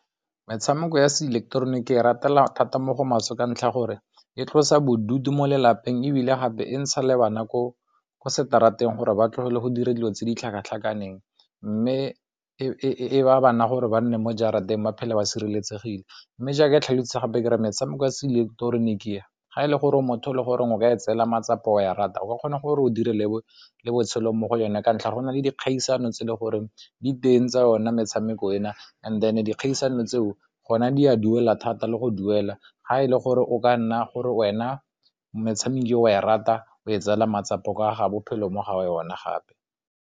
Metshameko ya seileketeroniki ke e ratela thata mo go maswe ka ntlha ya gore e tlosa bodutu mo lelapeng ebile gape e ntsha le ba nako ko seterateng gore ba tlogele go dira dilo tse di tlhakatlhakaneng mme e baya bana gore ba nne mo jarateng ba phela ba sireletsegile mme jaaka e tlhalosetsa gape re metshameko ya seileketeroniki ga e le gore motho e le goreng o ka e tseelwa matsapa, o a e rata o ka kgona gore o dire le botshelo mo go yone ka ntlha go na le dikgaisano tse le gore diteng tsa yone metshameko ena, and then dikgaisano tseo gona di a duela thata le go duela ga e le gore o ka nna gore wena metshameko e o e rata o e tseelwa matsapa a ga bophelo mo ga yone gape.